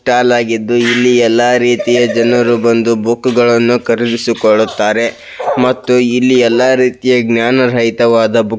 stall ಆಗಿದ್ದು ಇಲ್ಲಿ ಎಲ್ಲಾ ರೀತಿಯ ಜನರು ಬಂದು ಬುಕ್ ಗಳನ್ನು ಖರೀದಿಸಿಕೊಳ್ಳುತ್ತಾರೆ ಮತ್ತು ಇಲ್ಲಿ ಎಲ್ಲಾ ರೀತಿಯ ಜ್ಞಾನರಹಿತವಾದ --